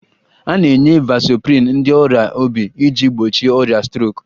A na-enye vasoprin ndị ọrịa obi iji gbochie ọrịa strok